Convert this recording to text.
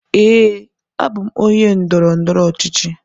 Ee, abụ m onye ndọrọ ndọrọ ọchịchị.